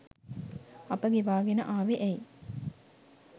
අප ගෙවාගෙන ආවෙ ඇයි?